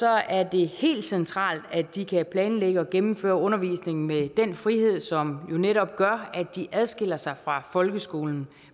er det helt centralt at de kan planlægge og gennemføre undervisningen med den frihed som jo netop gør at de adskiller sig fra folkeskolen